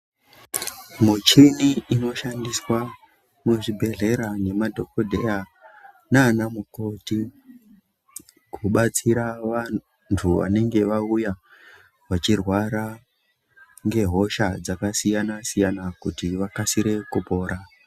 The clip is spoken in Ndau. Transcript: Muchini inoshandiswa muzvibhedhleya nemadhokodheya nanamukoti kubatsira vantu vanenge vauya vachirwara ngehosha dzakasiyana siyana kuti vakasire kupora.